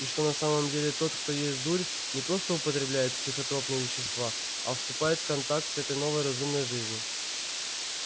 и что на самом деле тот кто ест дурь не просто употребляет психотропные вещества а вступает в контакт с этой новой разумной жизнью